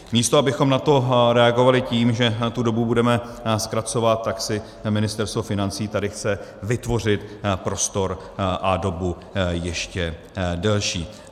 Místo abychom na to reagovali tím, že tu dobu budeme zkracovat, tak si Ministerstvo financí tady chce vytvořit prostor a dobu ještě delší.